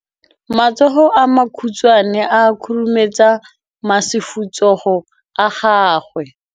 Matsogo a makhutshwane a khurumetsa masufutsogo a gago.